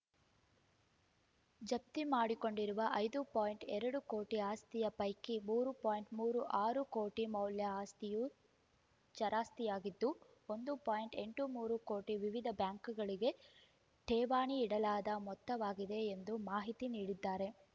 ಜಪ್ತಿ ಮಾಡಿಕೊಂಡಿರುವ ಐದು ಪಾಯಿಂಟ್ ಎರಡು ಕೋಟಿ ಆಸ್ತಿಯ ಪೈಕಿ ಮೂರು ಪಾಯಿಂಟ್ ಮೂರು ಆರು ಕೋಟಿ ಮೌಲ್ಯ ಆಸ್ತಿಯು ಚರಾಸ್ತಿಯಾಗಿದ್ದು ಒಂದು ಪಾಯಿಂಟ್ ಎಂಟು ಮೂರು ಕೋಟಿ ವಿವಿಧ ಬ್ಯಾಂಕುಗಳಗೆ ಠೇವಣಿ ಇಡಲಾದ ಮೊತ್ತವಾಗಿದೆ ಎಂದು ಮಾಹಿತಿ ನೀಡಿದ್ದಾರೆ